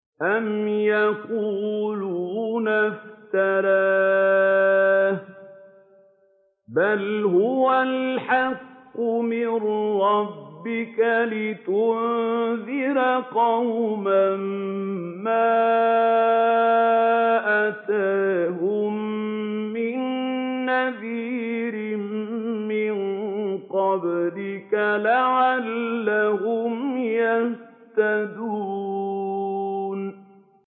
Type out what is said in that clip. أَمْ يَقُولُونَ افْتَرَاهُ ۚ بَلْ هُوَ الْحَقُّ مِن رَّبِّكَ لِتُنذِرَ قَوْمًا مَّا أَتَاهُم مِّن نَّذِيرٍ مِّن قَبْلِكَ لَعَلَّهُمْ يَهْتَدُونَ